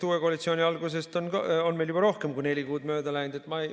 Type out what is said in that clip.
Uue koalitsiooni algusest on meil juba rohkem kui neli kuud mööda läinud.